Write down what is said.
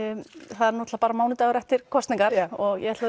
það er náttúrulega bara mánudagur eftir kosningar og ég ætla